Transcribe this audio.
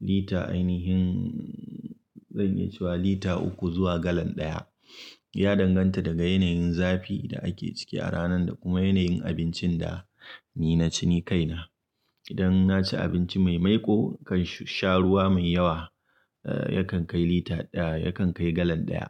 lita ainihin, zan iya cewa lita uku zuwa galan ɗaya, Ya danganta daga yanayin zafi da ake ciki a ranan da kuma yanayin abincin da, ni na ci ni kaina. Idan na ci abinci mai maiƙo, kan sh-sha ruwa mai yawa, eh yakan kai lita ɗaya yakan kai galan ɗaya.